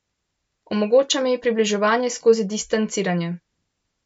Omogoča mi približevanje skozi distanciranje.